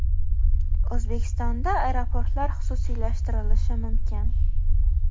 O‘zbekistonda aeroportlar xususiylashtirilishi mumkin.